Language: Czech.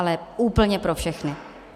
Ale úplně pro všechny.